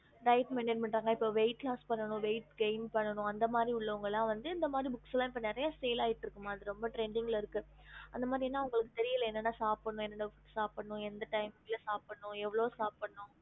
ஹம்